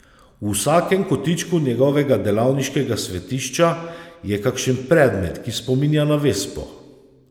V vsakem kotičku njegovega delavniškega svetišča je kakšen predmet, ki spominja na vespo.